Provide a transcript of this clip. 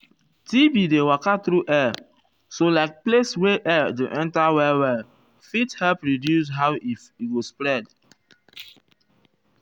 tb dey waka tru air so like place wey air dey enter well well fit help reduce how e go spread.